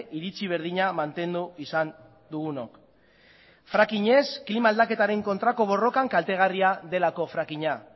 iritzi berdina mantendu izan dugunok fracking ez klima aldaketaren kontrako borrokan kaltegarria delako fracking a